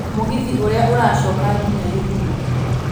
mũgithi Ũrĩa ũracoka nginya githumo